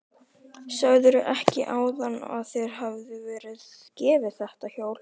Sagðirðu ekki áðan að þér hefði verið gefið þetta hjól?